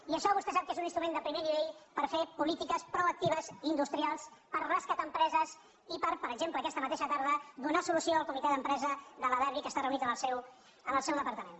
i això vostè sap que és un instrument de primer nivell per fer políti·ques proactives industrials per rescatar empreses i per per exemple aquesta mateixa tarda donar solució al comitè d’empresa de la derbi que està reunit en el seu departament